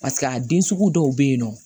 Paseke a den sugu dɔw bɛ yen nɔ